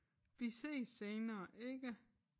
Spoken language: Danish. Vi ses senere ikke?